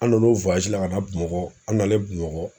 An nan'o la ka na Bamakɔ, an nalen Bamakɔ